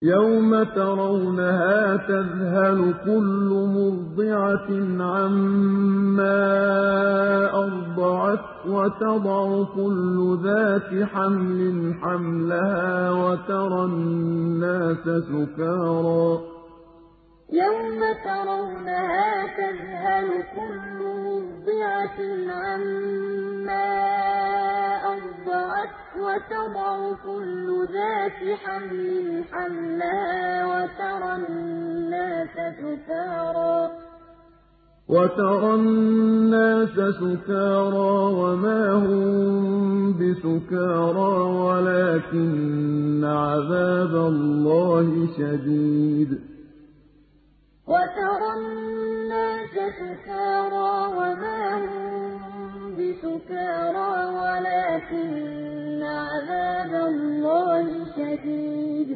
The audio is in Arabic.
يَوْمَ تَرَوْنَهَا تَذْهَلُ كُلُّ مُرْضِعَةٍ عَمَّا أَرْضَعَتْ وَتَضَعُ كُلُّ ذَاتِ حَمْلٍ حَمْلَهَا وَتَرَى النَّاسَ سُكَارَىٰ وَمَا هُم بِسُكَارَىٰ وَلَٰكِنَّ عَذَابَ اللَّهِ شَدِيدٌ يَوْمَ تَرَوْنَهَا تَذْهَلُ كُلُّ مُرْضِعَةٍ عَمَّا أَرْضَعَتْ وَتَضَعُ كُلُّ ذَاتِ حَمْلٍ حَمْلَهَا وَتَرَى النَّاسَ سُكَارَىٰ وَمَا هُم بِسُكَارَىٰ وَلَٰكِنَّ عَذَابَ اللَّهِ شَدِيدٌ